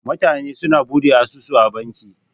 Mutane su na Buɗe asusu a banki.